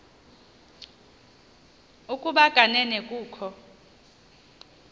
ukuba kanene kukho